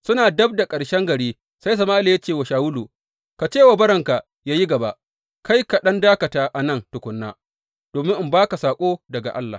Suna dab da ƙarshen gari, sai Sama’ila ya ce wa Shawulu, Ka ce wa bawanka yă yi gaba, kai ka ɗan dakata a nan tukuna, domin in ba ka saƙo daga Allah.